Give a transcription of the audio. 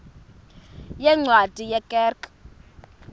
yeencwadi ye kerk